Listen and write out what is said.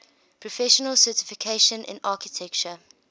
professional certification in architecture